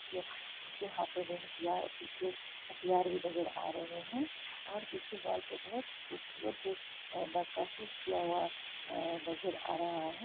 यहाँ उनके हाथो में हथियार उनके हथियार भी नजर आ रहे हैं| और पीछे वॉल पे बहुत खुबसूरत नकाशी किया हुआ अ नजर आ रहा है।